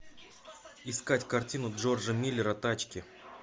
искать картину джорджа миллера тачки